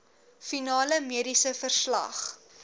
finale mediese verslag